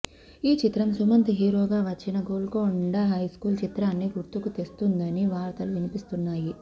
ఈ చిత్రం సుమంత్ హీరోగా వచ్చిన గోల్కొండ హైస్కూల్ చిత్రాన్ని గుర్తుకు తెస్తుందని వార్తలు వినిపిస్తున్నాయి